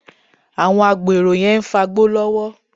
Àwọn agbèrò yẹn ń fagbó lọ́wọ́